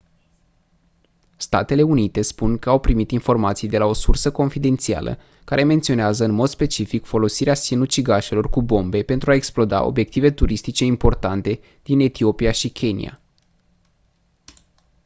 statele unite spun că au primit informații de la o sursă confidențială care menționează în mod specific folosirea sinucigașilor cu bombe pentru a exploda «obiective turistice importante» din etiopia și kenia.